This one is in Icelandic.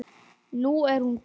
Nú er hún glöð.